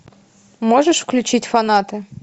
можешь включить фанаты